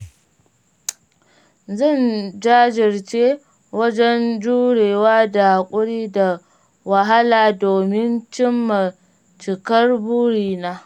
Zan jajirce wajen jurewa da haƙuri da wahala domin cimma cikar burina.